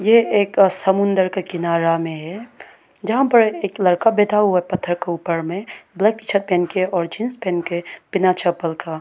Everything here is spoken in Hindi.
ये एक समुंदर का किनारा में है जहां पर एक लड़का बैठा हुआ है पत्थर के ऊपर में ब्लैक शर्ट पहन के और जींस पहन के बिना चप्पल का।